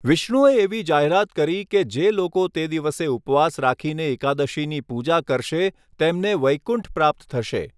વિષ્ણુએ એવી જાહેરાત કરી કે જે લોકો તે દિવસે ઉપવાસ રાખીને એકાદશીની પૂજા કરશે તેમને વૈકુંઠ પ્રાપ્ત થશે.